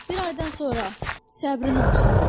Bir aydan sonra, səbrin olsun.